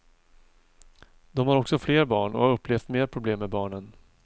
De har också fler barn och har upplevt mer problem med barnen.